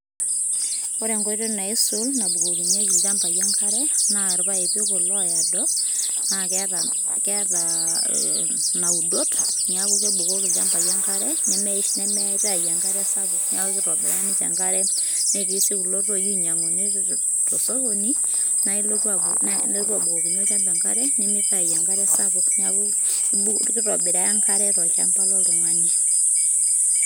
Ore enkoitoi naisul nabukokinyeki ilchambai enkare naa irpaipi kulo oado naa keeta keeta naudot neeku kebukoki ilchambai enkare nemeitayu enkare sapuk neeku kitobiraki enkare. Netii sii kulo toi oinyang'uni to sokoni nae ilotu abukokinye olchamba enkare, nemibukoo enkare sapuk. Neeku kitobiraa enkare tolchamba loltung'ani.